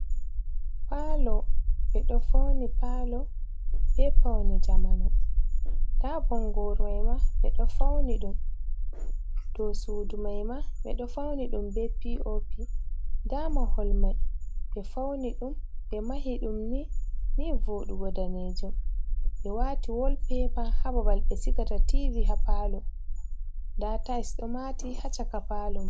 Palo ɓe ɗo fauni palo be paune jamanu, nda bongoru maima ɓe ɗo fauni ɗum, dow suudu maima ɓeɗo fauni ɗum be pop nda mahol mai be fauni ɗum be mahi ɗum ni ni vodugo danejum be wati wolpepa ban ha babal be sigata tv ha palo, nda tais ɗo mati ha caka palo man.